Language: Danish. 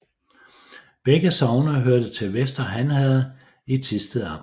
Begge sogne hørte til Vester Han Herred i Thisted Amt